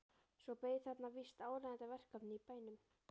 Svo beið þeirra víst áríðandi verkefni í bænum.